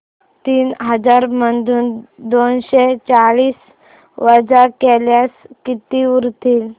तीन हजार मधून दोनशे चाळीस वजा केल्यास किती उरतील